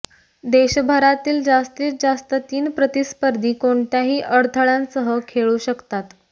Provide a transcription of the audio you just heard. देशभरातील जास्तीत जास्त तीन प्रतिस्पर्धी कोणत्याही अडथळ्यांसह खेळू शकतात